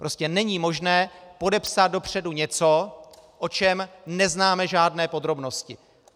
Prostě není možné podepsat dopředu něco, o čem neznáme žádné podrobnosti.